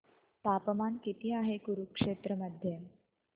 तापमान किती आहे कुरुक्षेत्र मध्ये